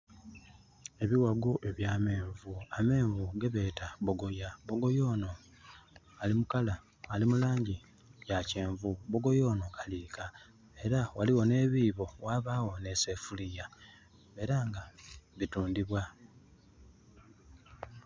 Ebiwago ebya menvu, amenvu gebeeta bogoya. Bogoya ono ali mu langi ya kyenvu. Bogoya ono aliika. Era waliwo ne bibo wabawo ne sefuliya era nga bitundibwa